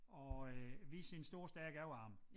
Og øh viser sine store stærke overarme